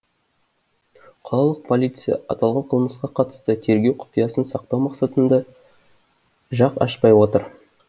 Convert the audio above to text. қалалық полиция аталған қылмысқа қатысты тергеу құпиясын сақтау мақсатында жақ ашпай отыр